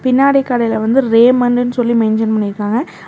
பின்னாடி கடைல வந்து ரேமன்னு சொல்லி மென்ஷன் பண்ணிருக்காங்க அ--